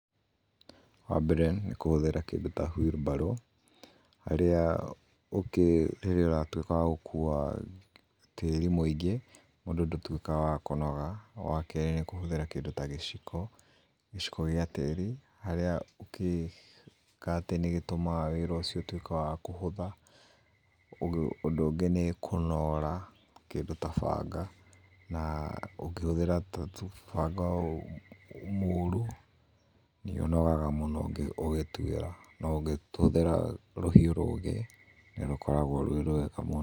Wa mbere nĩ kũhũthĩra kĩndũ ta wirubaru rĩrĩa ũratuĩka wa gũkua tĩĩri mũĩngĩ hĩndĩ ndũtũikaga wa kũnoga, wa kerĩ nĩ kũhũthĩra kĩndũ ta gĩciko gĩa tĩiri harĩa ũgĩikia tiiri nĩ gĩtũmaga ũndũ ũcio ũtũĩke wa kũhũtha, ũndũ ũngĩ nĩ kũnora kĩndũ ta banga na ũkĩhũthĩra banga mũũru nĩ ũnogaga mũno ũgĩtuira na ũngĩhũthira rũhĩu rũgĩ nĩ rũkoragwo rwĩ rwega mũno